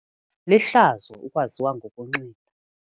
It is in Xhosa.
Lihlazo ukwaziwa ngokunxila.